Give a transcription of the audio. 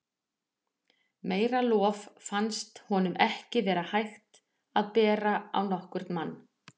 Meira lof fannst honum ekki vera hægt að bera á nokkurn mann.